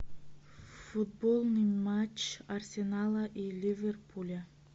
футбольный матч арсенала и ливерпуля